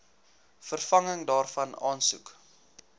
vervanging daarvan aansoek